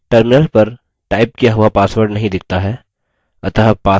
terminal पर type किया हुआ password नहीं दिखता है